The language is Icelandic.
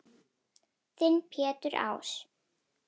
Þinn Pétur Ás.